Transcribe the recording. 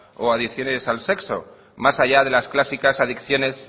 o adicciones al sexo más allá de las clásicas adicciones